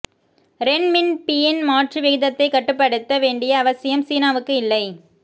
ரென் மின் பியின் மாற்று விகிதத்தைக் கட்டுப்படுத்த வேண்டிய அவசியம் சீனாவுக்கு இல்லை